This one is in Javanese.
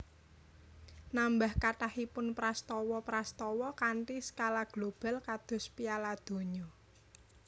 Nambah kathahipun prastawa prastawa kanthi skala global kados Piala Donya